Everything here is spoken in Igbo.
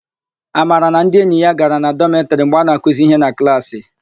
Amara na ndi enyi ya gara na dọmetịrị mgbe a na-akụzi íhé na klaasị.